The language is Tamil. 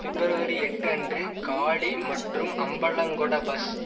பிப்ரவரி எட்டு அன்று காலி மற்றும் அம்பலங்கொட பஸ்